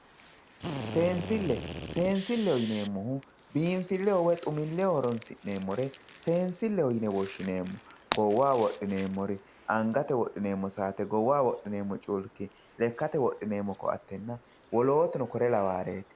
seensille. seensilleho yineemmohu biinfilleho woy xumilleho horoonsi'neemmore seensileho yine woshshineemmo goowaho wodhineemmori angate wodhineemmo saate goowaho wodhineemmo culki lekkate wodhineemmo ko"attenna wolootuno kore lawawooreeti.